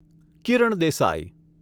Kiran Desai